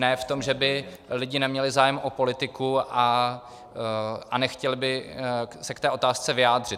Ne v tom, že by lidé neměli zájem o politiku a nechtěli by se k té otázce vyjádřit.